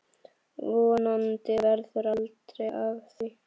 Vonandi verður aldrei af því.